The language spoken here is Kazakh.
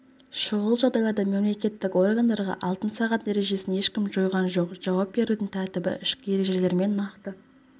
шұғыл жағдайларда мемлекеттік органдарға алтын сағат ережесін ешкім жойған жоқ жауап берудің тәртібі ішкі ережелермен нақты